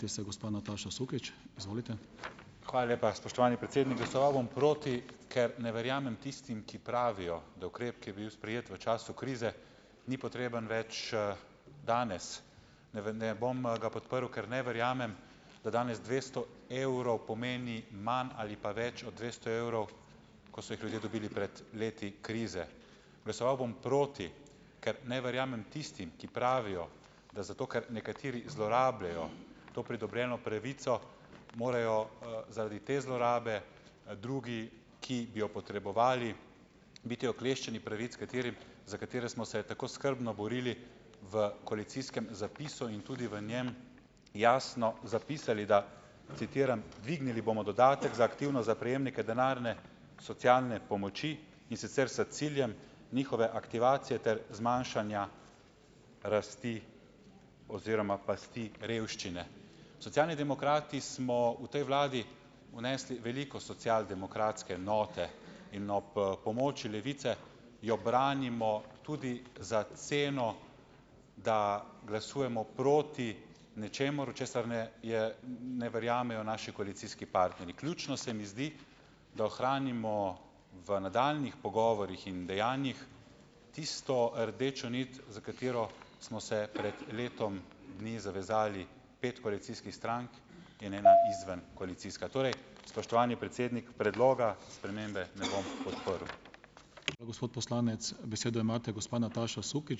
Hvala lepa, spoštovani predsednik. Glasoval bom proti, ker ne verjamem tistim, ki pravijo, da ukrep, ki je bil sprejet v času krize, ni potreben več, danes. Ne bom, ga podprl, ker ne verjamem, da danes dvesto evrov pomeni manj ali pa več od dvesto evrov, ko so jih ljudje dobili pred leti krize. Glasoval bom proti, ker ne verjamem tistim, ki pravijo, da zato, ker nekateri zlorabljajo to pridobljeno pravico, morajo, zaradi te zlorabe, drugi, ki bi jo potrebovali, biti okleščeni pravic, katerim za katere smo se tako skrbno borili v koalicijskem zapisu, in tudi v njem jasno zapisali, da, citiram: "Dvignili bomo dodatek za aktivno, za prejemnike denarne socialne pomoči, in sicer s ciljem njihove aktivacije ter zmanjšanja rasti oziroma pasti revščine." Socialni demokrati smo v tej vladi vnesli veliko socialdemokratske note in ob, pomoči Levice jo branimo tudi za ceno, da glasujemo proti nečemu, česar ne je ne verjamejo naši koalicijski partnerji. Ključno se mi zdi, da ohranimo v nadaljnjih pogovorih in dejanjih tisto rdečo nit, za katero smo se pred letom dni zavezali, pet koalicijskih strank in ena izven- koalicijska. Torej, spoštovani predsednik, predloga spremembe ne bom podprl.